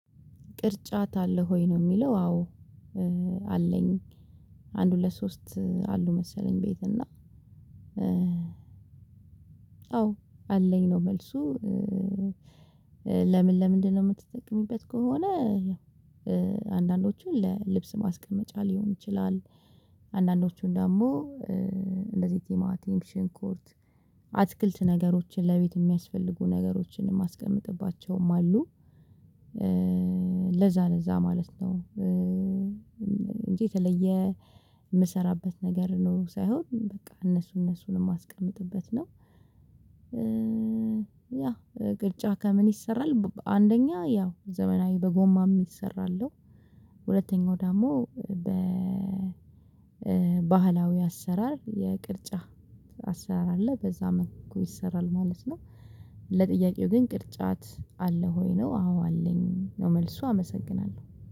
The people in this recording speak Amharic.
ቅርጫት አለህ ወይ? ነው ሚለው። አዎ። አለኝ። አንድ ሁለት ሶስት አሉ መሰለኝ ቤት እና። አዎ አለኝ ነው። መልሱ ለምን ለምንድነው ምትጠቀሚበት? ከሆነ። ያው አንዳንዶቹን ለልብስ ማስቀመጫ ሊሆን ይችላል። አንዳንዶቹን ደሞ። እንደዚ ቲማቲም ሽንኩርት አትክልት ነገሮችን ለቤት ሚያስፈልጉ ነገሮችን የማስቀምጥባቸውም አሉ። ለዛ ለዛ ማለት ነው። እንጂ የተለየ ምሰራበት ነገር ኖሮ ሳይሆን በቃ እነሱ እነሱን ማስቀምጥበት ነው። ያ ቅርጫ ከምን ይሰራል? አንደኛ ያው ዘመናዊ በጎማ ሚሰራ አለው። ሁለተኛው ደሞ በባህላዊ አሰራር የቅርጫ አሰራር አለ በዛ መልኩ ይሰራል ማለት ነው። ለጥያቄው ግን ቅርጫት አለህ ወይ? ነው አዎ አለኝ ነው መልሱ አመሰግናለው